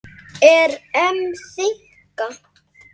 Er EM þynnka?